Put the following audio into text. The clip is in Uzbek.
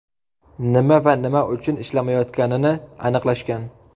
Nima va nima uchun ishlamayotganini aniqlashgan.